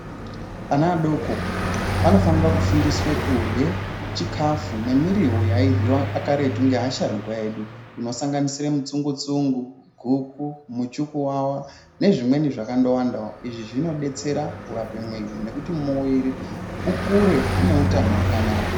Ana adoko anofanire kufundiswe kurye chikafu nemirivo yairyiva karetu ngeasharuka edu. Inosanganisire mutsungu-tsungu, guku, muchukuvava nezvimweni zvakandovandavo. Izvi zvinobetsera kurape mviri nekuti mwiri ukure une utano hwakanaka.